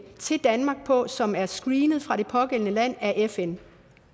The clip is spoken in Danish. til danmark på som er screenet fra det pågældende land af fn